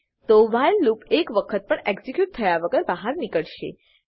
તો while loop એક વખત પણ એક્ઝીક્યુટ થયા વગર બાહર નીકળશે